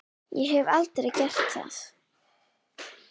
Ég hef aldrei gert það.